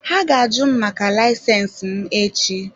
Ha ga-àju m maka layisensi m echi.